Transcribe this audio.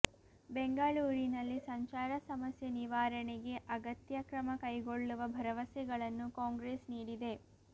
ಬೆಂಗಳೂರಿನಲ್ಲಿ ಸಂಚಾರ ಸಮಸ್ಯೆ ನಿವಾರಣೆಗೆ ಅಗತ್ಯ ಕ್ರಮ ಕೈಗೊಳ್ಳುವ ಭರವಸೆಗಳನ್ನು ಕಾಂಗ್ರೆಸ್ ನೀಡಿದೆ